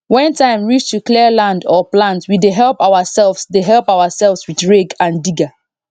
when time reach to clear land or plant we dey help ourselves dey help ourselves with rake and digger